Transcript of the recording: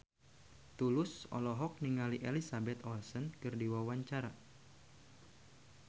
Tulus olohok ningali Elizabeth Olsen keur diwawancara